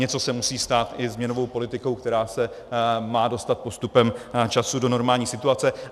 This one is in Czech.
Něco se musí stát i s měnovou politikou, která se má dostat postupem času do normální situace.